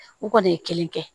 U kɔni ye kelen kɛ